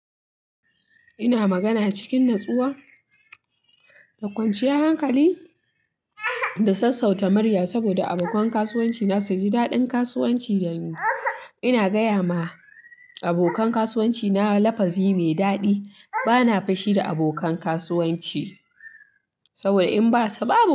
Ina magana cikin natsuwa da kwanciyar hankali, da sassauta murya saboda abokan kasuwanci na su ji daɗin kasuwanci da ni. Ina gaya ma abokan kasuwanci na lafazi mai daɗi. Bana fushi da abokan kasuwanci saboda in ba su ba.